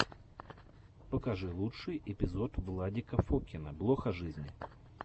покажи лучший эпизод владика фокина блог о жизни